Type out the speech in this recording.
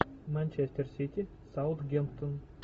манчестер сити саутгемптон